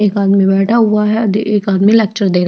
एक आदमी बैठा हुआ है दे एक आदमी लेक्चर दे रहा--.